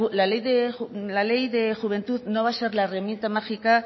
la ley de juventud no va a ser la herramienta mágica